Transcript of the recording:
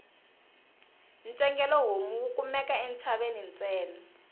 ntsengele homu wu kumeka entshaveni ntsena